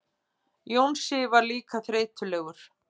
Jónsi var líka þreytulegur.